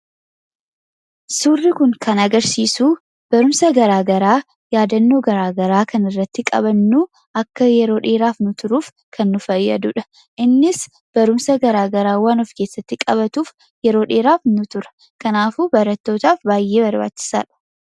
Suurri kun kan agarsiisu barumsa gara garaa, yaadannoo gara garaa kan irratti qabannu, akka yeroo dheeraa nuu turuuf kan nu fayyadudha. Innis barumsa gara garaa waan of keessatti qabatuuf yeroo dheeraa nuuf tura. Kanaaf barattootaaf baay'ee barbaachisaadha.